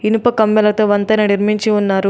ఇనుప కమ్మెలతో వంతెన నిర్మించి ఉన్నారు.